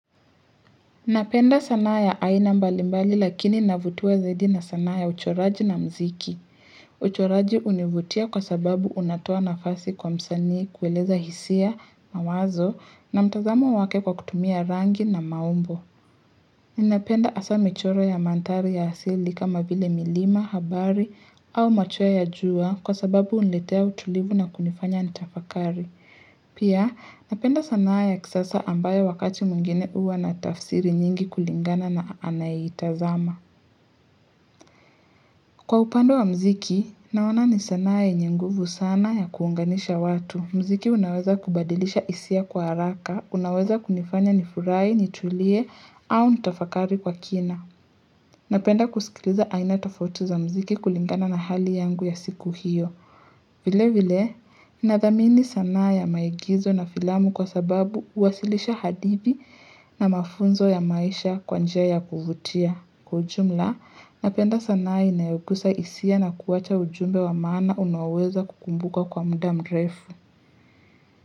Napenda sanaa ya aina mbalimbali lakini navutiwa zaidi na sanaa ya uchoraji na mziki. Uchoraji univutia kwa sababu unatoa nafasi kwa msani kueleza hisia, mawazo na mtazamo wake kwa kutumia rangi na maumbo. Napenda asaa michoro ya mandhari ya asili kama vile milima, habari au machoe ya jua kwa sababu unletea utulivu na kunifanya nitafakari. Pia napenda sanaa ya kisasa ambayo wakati mwingine uwa na tafsiri nyingi kulingana na anayeitazama Kwa upande wa mziki, naona ni sanaa ya yenye nguvu sana ya kuunganisha watu mziki unaweza kubadilisha isia kwa haraka, unaweza kunifanya nifurai, nitulie au nitafakari kwa kina Napenda kusikiliza aina tofauti za mziki kulingana na hali yangu ya siku hiyo vile vile, nathamini sana ya maigizo na filamu kwa sababu uwasilisha hadithi na mafunzo ya maisha kwa njia ya kuvutia. Kwa ujumla, napenda sanaa inayogusa isia na kuwacha ujumbe wa maana unaoweza kukumbukwa kwa mda mrefu.